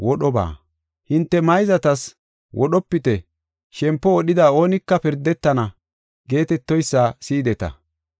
“Hinte mayzatas, ‘Wodhopite; shempo wodhida oonika pirdetana’ geetetoysa si7ideta.